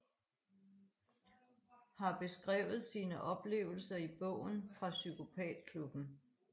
Har beskrevet sine oplevelser i bogen Fra psykopatklubben